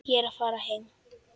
Ég er að fara heim.